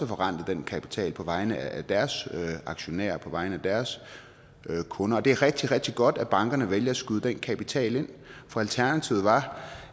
forrentet den kapital på vegne af deres aktionærer og på vegne af deres kunder det er rigtig rigtig godt at bankerne vælger at skyde den kapital ind for alternativet var